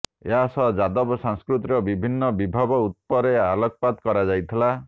ଏହା ସହ ଯାଦବ ସଂସ୍କୃତିର ବିଭିନ୍ନ ବିଭବ ଉପରେ ଆଲୋକପାତ କରାଯାଇଥିଲା